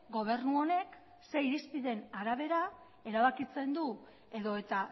gobernu honek zer irizpideen arabera erabakitzen du edota